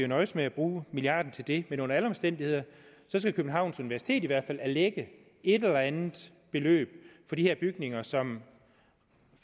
nøjes med at bruge milliarden til det men under alle omstændigheder skal københavns universitet i hvert fald erlægge et eller andet beløb for de her bygninger som